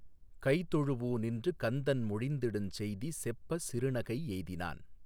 கைதொழூஉநின்று கந்தன் மொழிந்திடுஞ்செய்தி செப்பச் சிறுநகை யெய்தினான்